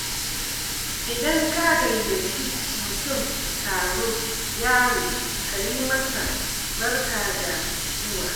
Idan ka gayyaci mutum taro yaro kayi masa "Barka da zuwa!".